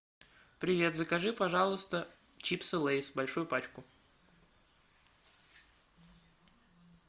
привет закажи пожалуйста чипсы лейс большую пачку